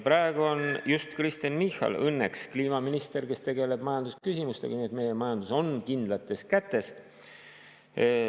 Praegu on just Kristen Michal õnneks kliimaminister, kes tegeleb majandusküsimustega, nii et meie majandus on kindlates kätes.